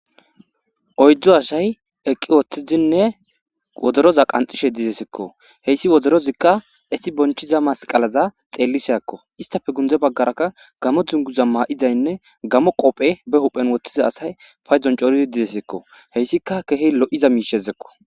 oyddo asay eqqi woottidinne wodoroza qanxishe didesekko heyssi wodorozikka esi bonchiza masqalaza xeellisakko istafe gundze baggarakka gamo dzunguza maa'izaynne gamo qophe be huphen wottiza asay fayzon cooridi didesekko heyssika kehey lo'iza miishezekko